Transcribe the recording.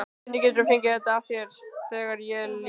Hvernig geturðu fengið þetta af þér, þegar ég er líka.